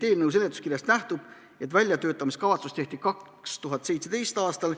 Eelnõu seletuskirjast nähtub, et väljatöötamiskavatsus tehti 2017. aastal.